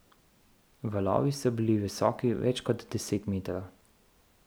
Valovi so bili visoki več kot deset metrov.